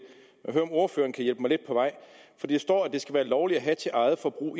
er om ordføreren kan hjælpe mig lidt på vej for der står at det skal være lovligt at have til eget forbrug